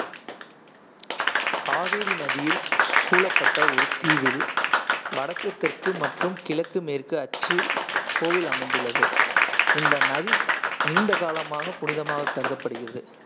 காவேரி நதியில் சூழப்பட்ட ஒரு தீவில், வடக்கு தெற்கு மற்றும் கிழக்கு மேற்கு அச்சில் கோயில் அமைந்துள்ளது. இந்த நதி நீண்ட காலமாக புனிதமாக கருதப்படுகிறது,